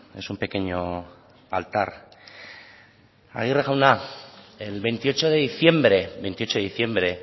es un pequeño altar aguirre jauna el veintiocho de diciembre veintiocho de diciembre